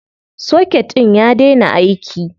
Soket ɗin ya daina aiki.